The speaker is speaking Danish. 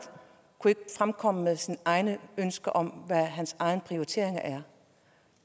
kunne ikke fremkomme med sine egne ønsker og egne prioriteringer